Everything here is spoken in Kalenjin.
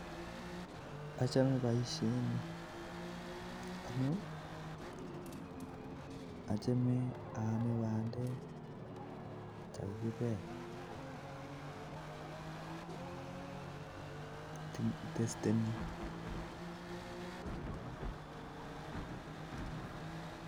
Achome boisyoni amu achome aame bandek chekakibel amuu anyiny